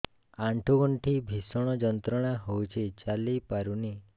ଆଣ୍ଠୁ ଗଣ୍ଠି ଭିଷଣ ଯନ୍ତ୍ରଣା ହଉଛି ଚାଲି ପାରୁନି